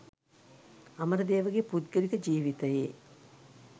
අමරදේවගේ පුද්ගලික ජීවිතයේ